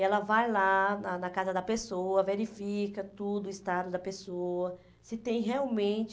Ela vai lá na na casa da pessoa, verifica tudo, o estado da pessoa, se tem realmente...